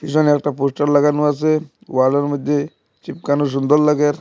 পিছনে একটা পোস্টার লাগানো আসে ওয়ালের মধ্যে চিপকানো সুন্দর লাগের।